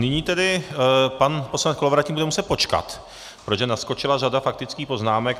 Nyní tedy pan poslanec Kolovratník bude muset počkat, protože naskočila řada faktických poznámek.